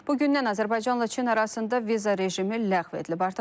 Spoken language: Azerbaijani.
Bugündən Azərbaycanla Çin arasında viza rejimi ləğv edilib.